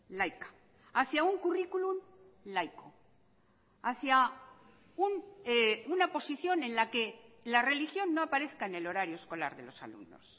laica hacia un currículum laico hacia una posición en la que la religión no aparezca en el horario escolar de los alumnos